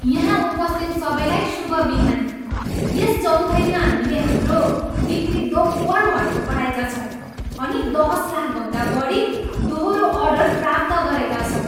यहाँ उपस्थित सबैलाई शुभ बिहानी। यस चौथाइमा हामीले हाम्रो बिक्री दोब्बर भएको पाएका छौँ अनि दस लाखभन्दा बढी दोहोरो अर्डर प्राप्त गरेका छौँ।